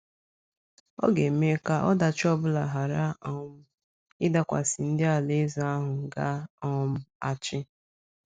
Ọ ga - eme ka ọdachi ọ bụla ghara um ịdakwasị ndị Alaeze ahụ ga - um achị.